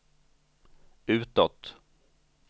utåt